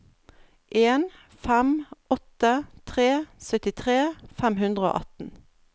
en fem åtte tre syttitre fem hundre og atten